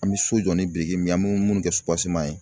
An bɛ so jɔ ni biriki min ye , an bɛ munnu kɛ ye